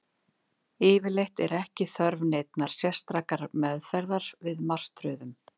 Yfirleitt er ekki þörf neinnar sérstakrar meðferðar við martröðum.